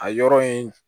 A yɔrɔ in